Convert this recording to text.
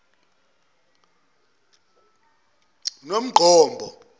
nongqombo